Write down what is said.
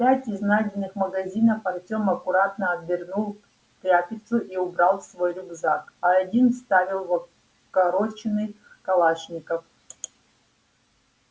пять из найденных магазинов артем аккуратно обернул в тряпицу и убрал в свой рюкзак а один вставил в укороченный калашников